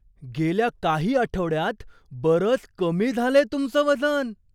गेल्या काही आठवड्यांत बरंच कमी झालंय तुमचं वजन!